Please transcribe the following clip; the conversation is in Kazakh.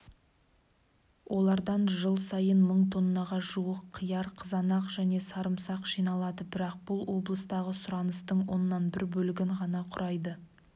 олардан жыл сайын мың тоннаға жуық қияр қызанақ және сарымсақ жиналады бірақ бұл облыстағы сұраныстың оннан бір бөлігін ғана құрайды